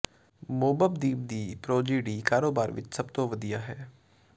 Mobb Deep ਦੀ Prodigy ਕਾਰੋਬਾਰ ਵਿਚ ਸਭ ਤੋਂ ਵਧੀਆ ਹੈ